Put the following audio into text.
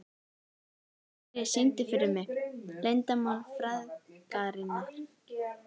Geiri, syngdu fyrir mig „Leyndarmál frægðarinnar“.